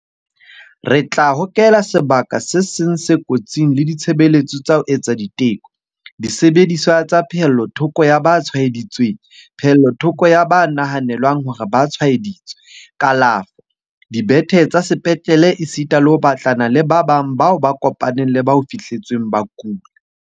Re tla hokela sebaka ka seng se kotsing le ditshebeletso tsa ho etsa diteko, disebediswa tsa pehellothoko ya ba tshwaeditsweng, pehellothoko ya ba nahanelwang hore ba tshwaeditswe, kalafo, dibethe tsa sepetlele esita le ho batlana le ba bang bao ba kopaneng le ba ho fihletsweng ba kula.